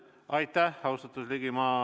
Aitäh, austatud Ligi!